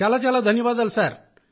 చాలా చాలా ధన్యవాదాలు సార్